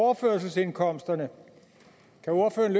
overførselsindkomsterne kan ordføreren